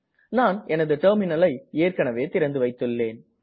நான் எனது டெர்மினல் ஐ ஏற்கனவே திறந்துவைத்துள்ளேன்